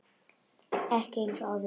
Ekki eins og áður fyrr.